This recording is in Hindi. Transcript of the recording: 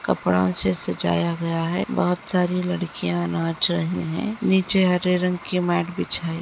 कपड़ा से सजाया गया है। बहुत लड़कियां नाच रही है। नीचे हरे रंग की मैट बिछाई --